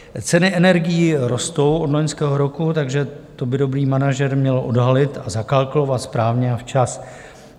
Ceny energií rostou od loňského roku, takže to by dobrý manažer měl odhalit a zakalkulovat správně a včas.